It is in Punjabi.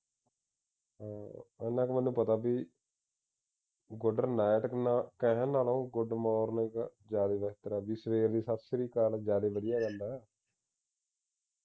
ਉਨਾਂ ਕਿ ਪਤਾ ਮੈਨੂੰ ਪਤਾ ਬਈ good night ਨਾ ਕਹਿਣ ਨਾਲੋਂ good morning ਜਿਆਦਾ ਬਿਹਤਰ ਆ ਬਈ ਸਵੇਰ ਦੀ ਸਤਿ ਸ਼੍ਰੀ ਅਕਾਲ ਜਿਆਦਾ ਵਧੀਆ ਗੱਲ ਆ